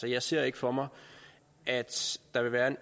jeg ser ikke for mig at der vil være